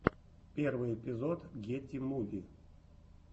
первый эпизод гети муви